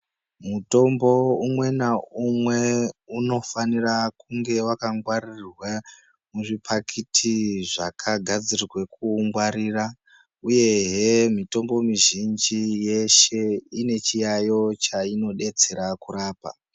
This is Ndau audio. Mutombo umwe naumwe unofanira kunge wakangwaririrwe muzvipakiti zvakagadzirirwe kuungwarira uyehe mutombo mizhinji yeshe ine chiyaiyo chinodetsera kurapa.